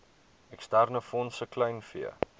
eksterne fondse kleinvee